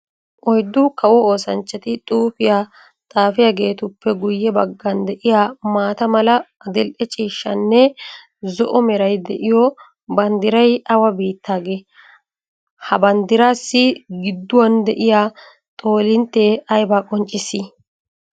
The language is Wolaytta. Oyddu kawo oosanchchatti xuufiya xaafiyagettuppe guye bagan de'iyaa maata mala, adil'e ciishshanne zo'o meray de'yo banddiray awa biittagee? Ha banddiraassi giduwan de'iyaa xoolintte aybba qonccissi?